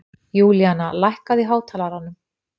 Júlíana, lækkaðu í hátalaranum.